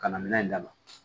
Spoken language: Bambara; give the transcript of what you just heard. Ka na minɛn in d'a ma